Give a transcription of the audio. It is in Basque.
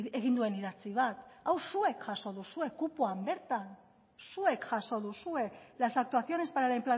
egin duen idatzi bat hau zuek jaso duzue kupoan bertan zuek jaso duzue las actuaciones para la